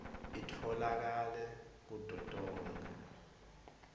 itfolakale kuto tonkhe